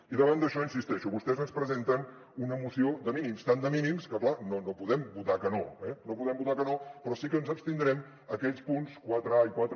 i davant d’això hi insisteixo vostès ens presenten una moció de mínims tan de mínims que clar no podem votar que no eh no podem votar que no però sí que ens abstindrem en aquells punts quatre